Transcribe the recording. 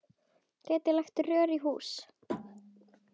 Gætirðu lagt rör í hús?